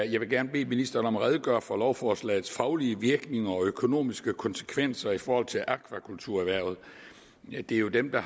jeg vil gerne bede ministeren om at redegøre for lovforslagets faglige virkning og økonomiske konsekvenser i forhold til akvakulturerhvervet det er jo dem der